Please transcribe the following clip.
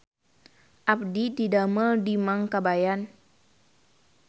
Abdi didamel di Mang Kabayan